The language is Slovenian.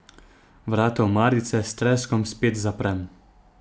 Vrata omarice s treskom spet zaprem.